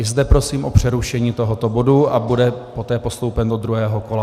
I zde prosím o přerušení tohoto bodu a bude poté postoupen do druhého kola.